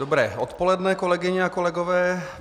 Dobré odpoledne, kolegyně a kolegové.